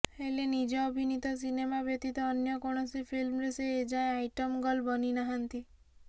ହେଲେ ନିଜ ଅଭିନୀତ ସିନେମା ବ୍ୟତୀତ ଅନ୍ୟ କୌଣସି ଫିଲ୍ମରେ ସେ ଏ ଯାଏଁ ଆଇଟମ୍ ଗର୍ଲ ବନିନାହାନ୍ତି